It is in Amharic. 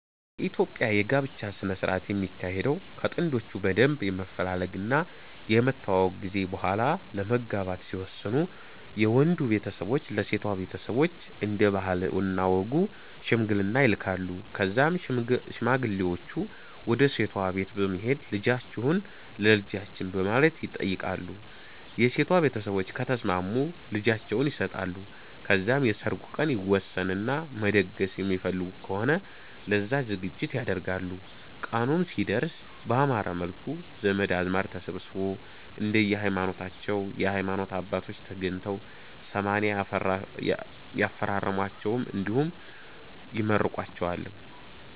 የኢትዮጵያ የ ጋብቻ ስነ ስረአት የሚካሄደው ከ ጥንዶቹ በደንብ የመፈላለግ እና የመተዋወቅ ጊዜ በሆላ ለመጋባት ሲወስኑ የ ወንዱ ቤተሰቦች ለ ሴቷ ቤተሰቦች እንደ ባህል እና ወጉ ሽምግልና ይልካሉ ከዛም ሽማግሌወቹ ወደ ሴቷ ቤት በመሄድ ልጃቺሁን ለ ልጃቺን በማለት ይተይቃሉ የ ሴቷ ቤተሰቦች ከተስማሙ ልጃቸውን ይሰጣሉ ከዛም የ ሰርጉ ቀን ይወሰን እና መደገስ የሚፈልጉ ከሆነ ለዛ ዝግጅት ያደርጋሉ ቀኑም ሲደርስ ባማረ መልኩ ዘመድ አዝማድ ተሰብስቦ፣ እንደየ ሀይማኖታቸው የ ሀይማኖት አባቶች ተገኝተው 80 ያፈራርሟቸዋል እንዲሁም ይመርቋቸዋል